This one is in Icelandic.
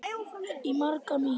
Í maga mín